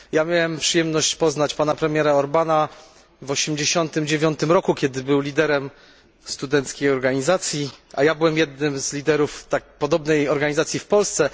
Miałem przyjemność poznać pana premiera Orbána w 89 roku, kiedy był liderem studenckiej organizacji, a ja byłem jednym z liderów podobnej organizacji w Polsce.